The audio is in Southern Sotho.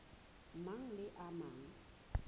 mang le a mang a